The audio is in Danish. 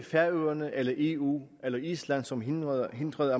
færøerne eller eu eller island som hindrede hindrede